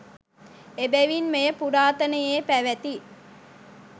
එබැවින් මෙය පුරාතනයේ පැවැති